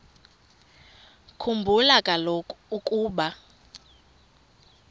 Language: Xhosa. khumbula kaloku ukuba